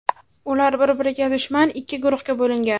Ular bir-biriga dushman ikki guruhga bo‘lingan.